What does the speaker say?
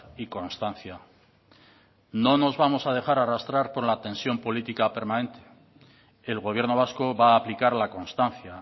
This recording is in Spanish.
y constancia no nos vamos a dejar arrastrar por la tensión política permanente el gobierno vasco va a aplicar la constancia